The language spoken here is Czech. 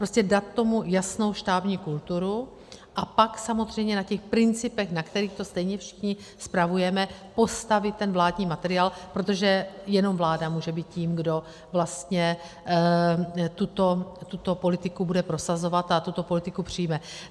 Prostě dát tomu jasnou štábní kulturu a pak samozřejmě na těch principech, na kterých to stejně všichni spravujeme, postavit ten vládní materiál, protože jenom vláda může být tím, kdo vlastně tuto politiku bude prosazovat a tuto politiku přijme.